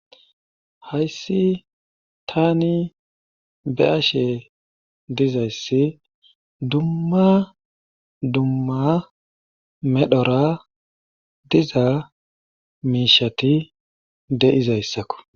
Hayssi taani be7ashe dizayssi dumma dumma medhoraa diza miisheti de7izayssako.